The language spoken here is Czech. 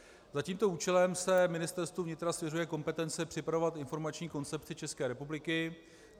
Za tímto účelem se Ministerstvu vnitra svěřuje kompetence připravovat informační koncepci České republiky.